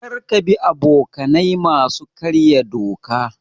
Kar ka bi abokanai masu karya doka.